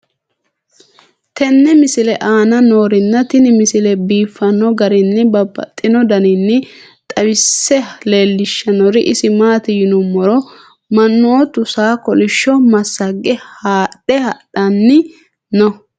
tenne misile aana noorina tini misile biiffanno garinni babaxxinno daniinni xawisse leelishanori isi maati yinummoro manoottu saa kolishsho massage haadhe hadhanni noo